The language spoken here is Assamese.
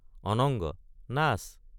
অনঙ্গ—নাচ।